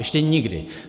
Ještě nikdy.